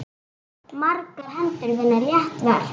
Margar hendur vinna létt verk.